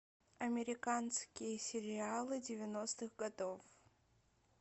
американские сериалы девяностых годов